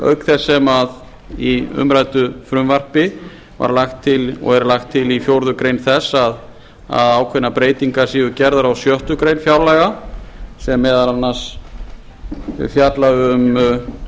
auk þess sem í umræddu frumvarpi var lagt til og er lagt til í fjórðu greinar þess að ákveðnar breytingar séu gerðar á sjöttu grein fjárlaga sem meðal annars fjalla